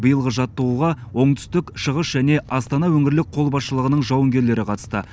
биылғы жаттығуға оңтүстік шығыс және астана өңірлік қолбасшылығының жауынгерлері қатысты